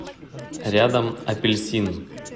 рядом апельсин